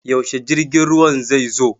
Yaushe jirgin ruwan zai zo?